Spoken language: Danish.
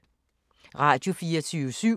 Radio24syv